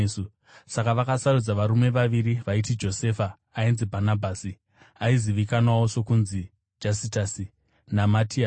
Saka vakasarudza varume vaviri vaiti: Josefa ainzi Bhanabhasi (aizivikanwawo sokunzi Jastasi) naMatiasi.